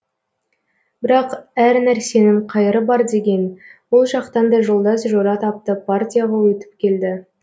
бірақ әр нәрсенің қайыры бар деген ол жақтан да жолдас жора тапты партияға өтіп келді